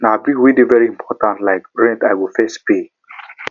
na bills wey dey very important like rent i go first pay